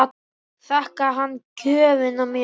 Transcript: Þakkaði hann gjöfina mjög.